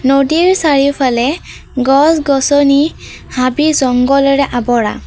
নদীৰ চাৰিওফালে গছ গছনি হাবি জংঘলেৰে আৱৰা।